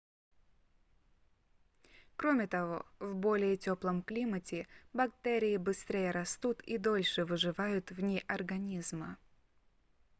кроме того в более теплом климате бактерии быстрее растут и дольше выживают вне организма